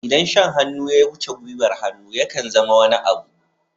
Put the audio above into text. Idan shan hannu ya wuce gwiwar hannu, ya kan zama wani abu.